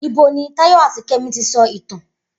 Ibo ni Táyọ̀ àti Kẹ́mi ti sọ ìtàn?